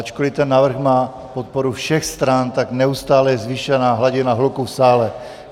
Ačkoliv ten návrh má podporu všech stran, tak neustále je zvýšená hladina hluku v sále.